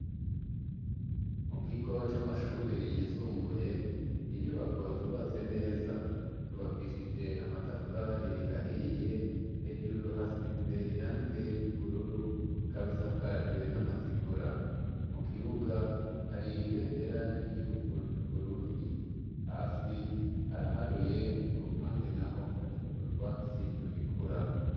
Mu kigo c'amashure yisumbuye, n'inyubako zubatse neza, zubakishije amatafari ahiye hejuru hasize irange ry'ubururu, ikab' isakajwe n'amategura ,mu kibuga hari ibendera ry'igihugu c'uBurundi, hasi haraharuye ku ruhande naho hari utwatsi tugikura